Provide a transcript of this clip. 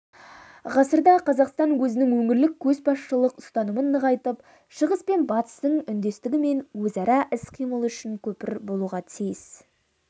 ғасырда қазақстан өзінің өңірлік көшбасшылық ұстанымын нығайтып шығыс пен батыстың үндестігі мен өзара іс-қимылы үшін көпір болуға тиіс